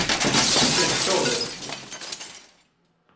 афина кто умер